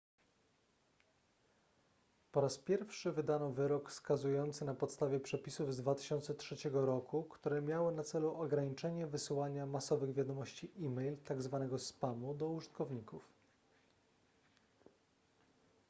po raz pierwszy wydano wyrok skazujący na podstawie przepisów z 2003 r które miały na celu ograniczenie wysyłania masowych wiadomości e-mail tzw spamu do użytkowników